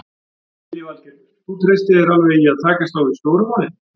Lillý Valgerður: Þú treystir þér alveg í að takast á við stóru málin?